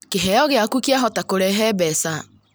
Kiheo gĩaku kĩahota kũrehe mbeca